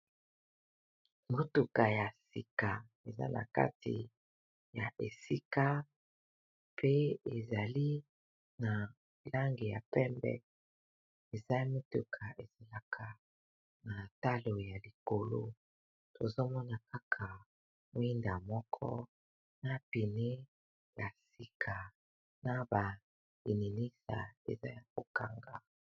Motuka ya sika eza na kati ya esika pe ezali na langi ya pembe eza ya motuka ezalaka na talo ya likolo tozomona kaka mwinda moko na pneu ya sika na ba lininisa eza ya kokanga.